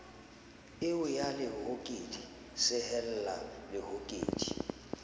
eo ya lehokedi sehella lehokedi